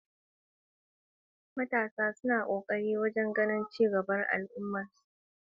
Tsarin jujjuyawar yana haɓaka adalci a cikin rabon take kuma yana hana maida hankali.